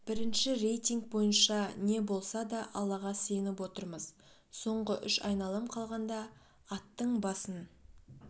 бірінші рейтинг бойынша не болса да аллаға сыйынып отырмыз соңғы үш айналым қалғанда аттың басын